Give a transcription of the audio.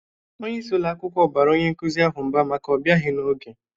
Onye isi ụlọ akwụkwọ bara onye nkuzi ahụ mba maka ọ bịaghi n'oge.